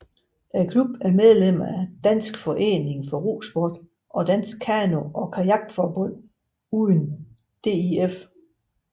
Klubben er medlem af Dansk Forening for Rosport og Dansk Kano og Kajakforbund uden DIF